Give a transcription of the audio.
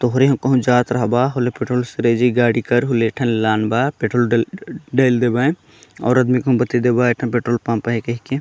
तोहरे हा करु जात रहबाहोले पेट्रोल सरायी जी गाड़ी हूर कर एक ठन लान बा पेट्रोल डाल डाल देवान अउर आदमी कने बताई देबा एक ठन पेट्रोल पंप